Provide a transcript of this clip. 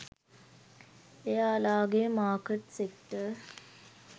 එයාලාගෙ market sector